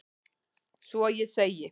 Svo ég segi: